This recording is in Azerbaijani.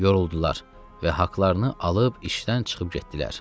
Yoruldular və haqlarını alıb işdən çıxıb getdilər.